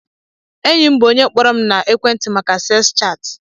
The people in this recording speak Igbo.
Enyim bu onye kpọrọm na ekwenti maka seks chat.